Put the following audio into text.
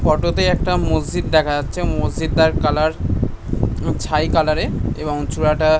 photo তে একটা মসজিদ দেখা যাচ্ছে মসজিদ টার কালার ছাই কালারের এবং চুড়াটা--